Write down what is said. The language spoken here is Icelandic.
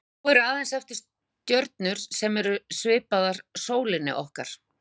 Þá eru aðeins eftir stjörnur sem eru svipaðar sólinni okkar.